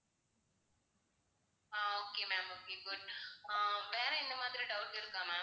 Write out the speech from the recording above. ஆஹ் okay ma'am okay good ஆஹ் வேற எந்த மாதிரி doubt இருக்கா ma'am